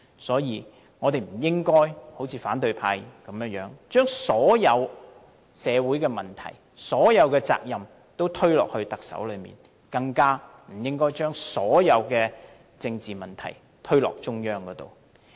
所以，我們不應該好像反對派那樣，將所有社會問題和責任推給特首，更不應該將所有政治問題推給中央。